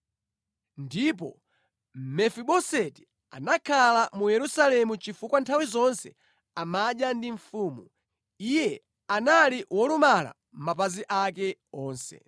Ndipo Mefiboseti anakhala mu Yerusalemu chifukwa nthawi zonse amadya ndi mfumu. Iye anali wolumala mapazi ake onse.